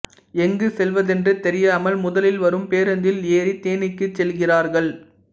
எங்கு செல்வதென்று தெரியாமல் முதலில் வரும் பேருந்தில் ஏறி தேனிக்கு செல்கிறார்கள்